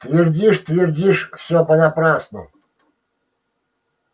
твердишь твердишь всё понапрасну